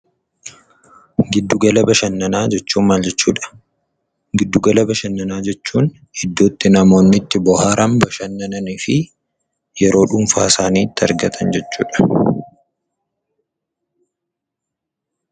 Giddu gala bashannanaa jechuun maal jechuudha? Giddu gala bashannanaa jechuun iddoo itti namoonni itti bohaaran, bashannananii fi yeroo dhuunfaa isaaniitti argatan jechuudha.